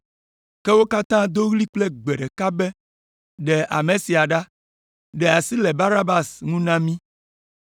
Ke wo katã do ɣli kple gbe ɖeka be, “Ɖe ame sia ɖa! Ɖe asi le Barabas ŋu na mí!”